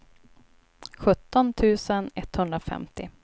sjutton tusen etthundrafemtio